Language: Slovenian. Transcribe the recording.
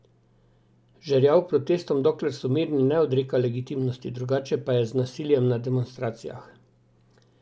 Žerjav protestom, dokler so mirni, ne odreka legitimnosti, drugače pa je z nasiljem na demonstracijah.